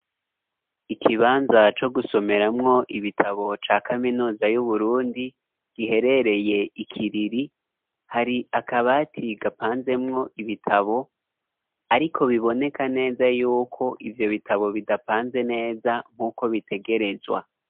Ikibanza co gusomeramwo ibitabo ca kaminuza yu Burundi giherereye ikiriri hari akabati gapanzemwo ibitabo ariko biboneka neza yuko ivyo bitabo bidapanze neza nk'uko bitegerezwa.